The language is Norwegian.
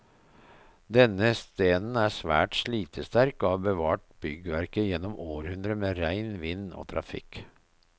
Denne stenen er svært slitesterk, og har bevart byggverket gjennom århundrer med regn, vind og trafikk.